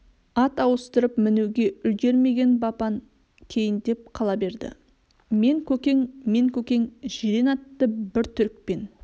ат ауыстырып мінуге үлгірмеген бапан кейіндеп қала берді мен көкең мен көкең жирен атты бір түрікпен